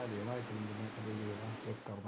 ਦੇਖਣਾ ਇੱਕ ਮਿੰਟ ਮੈਂ ਸਹੀ ਹੈ ਚੈੱਕ ਕਰਕੇ ਦੇਖਦਾ।